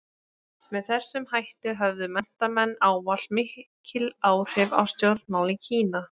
Með þessum hætti höfðu menntamenn ávallt mikil áhrif á stjórnmál í Kína.